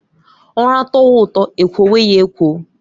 Ura tọwa ụtọ ekwowe ya ekwo